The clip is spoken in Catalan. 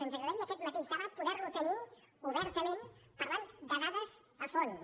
ens agradaria aquest mateix debat poder lo tenir obertament parlant de dades a fons